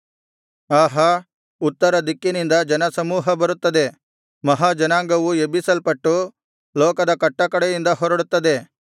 ಆಹಾ ಉತ್ತರ ದಿಕ್ಕಿನಿಂದ ಜನಸಮೂಹ ಬರುತ್ತದೆ ಮಹಾ ಜನಾಂಗವು ಎಬ್ಬಿಸಲ್ಪಟ್ಟು ಲೋಕದ ಕಟ್ಟಕಡೆಯಿಂದ ಹೊರಡುತ್ತದೆ